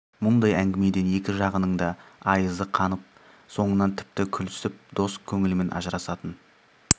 мұндай әңгімеден екі жағының да айызы қанып соңынан тіпті күлісіп дос көңілмен ажырасатын